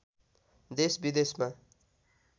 देश विदेशमा